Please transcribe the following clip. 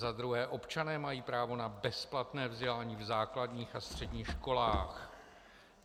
Za druhé: Občané mají právo na bezplatné vzdělání v základních a středních školách.